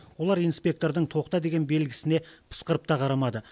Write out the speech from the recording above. олар инспектордың тоқта деген белгісіне пысқырып та қарамады